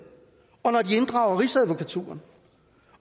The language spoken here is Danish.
og rigsadvokaturen